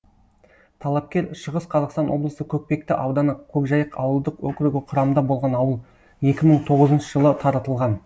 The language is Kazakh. талапкер шығыс қазақстан облысы көкпекті ауданы көкжайық ауылдық округі құрамында болған ауыл екі мың тоғызыншы жылы таратылған